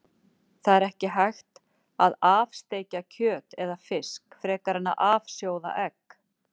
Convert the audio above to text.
Það er ekki hægt að af-steikja kjöt eða fisk frekar en að af-sjóða egg.